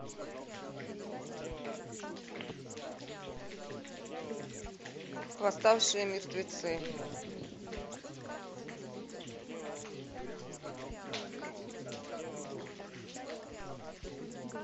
восставшие мертвецы